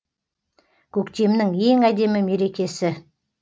көктемнің ең әдемі мерекесі